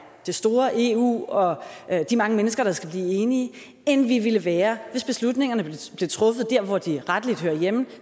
det store eu og de mange mennesker der skal blive enige end vi ville være hvis beslutningerne blev truffet der hvor de rettelig hører hjemme